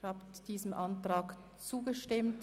Sie haben diesem Ordnungsantrag zugestimmt.